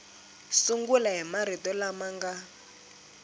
sungula hi marito lama nga